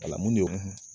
Kalan mun de